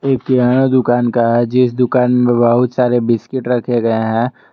ये किराना दुकान का है जिस दुकान में बहुत सारे बिस्किट रखे गए हैं।